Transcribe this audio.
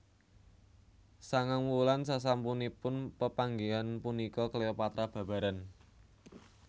Sangang wulan sasampunipun pepanggihan punika Cleopatra babaran